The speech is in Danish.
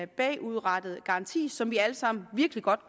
bagudrettet garanti som vi alle sammen virkelig godt